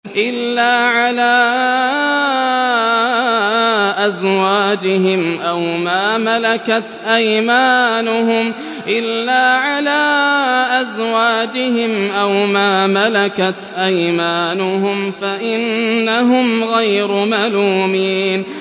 إِلَّا عَلَىٰ أَزْوَاجِهِمْ أَوْ مَا مَلَكَتْ أَيْمَانُهُمْ فَإِنَّهُمْ غَيْرُ مَلُومِينَ